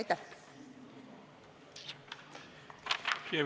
Aitäh!